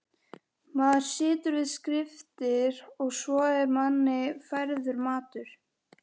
Maður situr við skriftir og svo er manni færður matur.